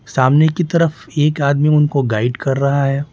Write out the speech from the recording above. सामने की तरफ एक आदमी उनको गाइड कर रहा है।